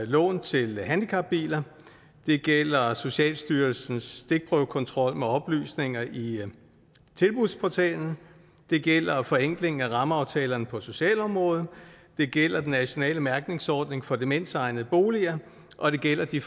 lån til handicapbiler det gælder socialstyrelsens stikprøvekontrol med oplysninger i tilbudsportalen det gælder forenklingen af rammeaftalerne på socialområdet det gælder den nationale mærkningsordning for demensegnede boliger og det gælder de